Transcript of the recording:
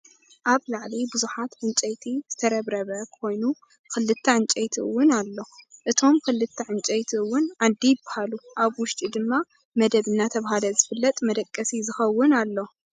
ኣብ ላዕሊ ብዙሓት ዕንጨይቲ ዝተረብረበ ኮይኑክልት ዕንጨይቲ እውን ኣሎ እቶም ክልተ ዕንጨይት እውን ዓንዲ ይብሃሉ። ኣብ ውሽጡ ድማ መደብ እናተባህለ ዝፍለጥ መደቀሲ ዝከውን ኣሎ።